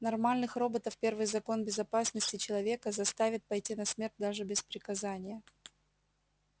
нормальных роботов первый закон безопасности человека заставит пойти на смерть даже без приказания